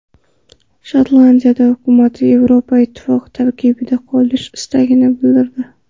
Shotlandiya hukumati Yevropa Ittifoqi tarkibida qolish istagini bildirdi.